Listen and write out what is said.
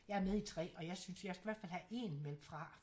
Jeg er med i 3 og jeg synes jeg skal i hvert fald have 1 meldt fra